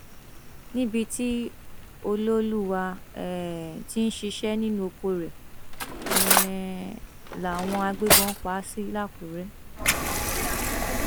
níbi tí ọlọọlùwà um tí ń ṣiṣẹ nínú oko rẹ um làwọn agbébọn pa á sí làkúrẹ